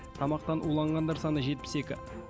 тамақтан уланғандар саны жетпіс екі